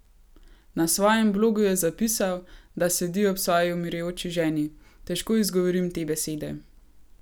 Na svojem blogu je zapisal, da sedi ob svoji umirajoči ženi: "Težko izgovorim te besede.